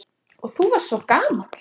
Og þú varst svo gamall.